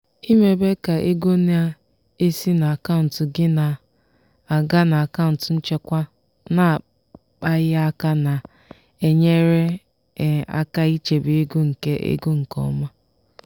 ịmebe ka ego na-esi n'akaụntụ gị na-aga n'akaụntụ nchekwa na-akpaghị aka na-enyere aka ichebe ego nke ego nke ọma.